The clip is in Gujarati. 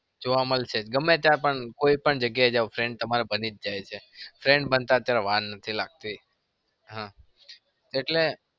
જોવા મળશે ગમે ત્યાં પણ કોઈ પણ જગ્યા એ જાઓ friend તમારા બની જ જાય છે. friend બનતા અત્યારે વાર નથી લાગતી.